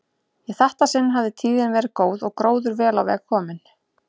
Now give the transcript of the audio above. Í þetta sinn hafði tíðin verið góð og gróður vel á veg kominn.